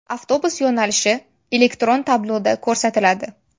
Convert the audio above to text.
Avtobus yo‘nalishi elektron tabloda ko‘rsatiladi.